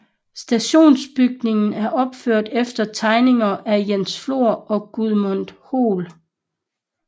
Stationsbygningen er opført efter tegninger af Jens Flor og Gudmund Hoel